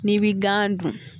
Ni bi gan dun